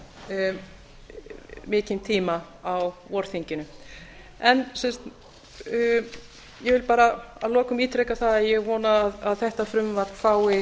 þurftu mikinn tíma á vorþinginu ég vil að lokum ítreka það að ég vona að þetta frumvarp fái